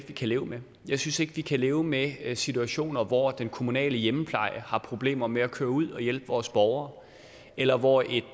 vi kan leve med jeg synes ikke at vi kan leve med situationer hvor den kommunale hjemmepleje har problemer med at køre ud og hjælpe vores borgere eller hvor et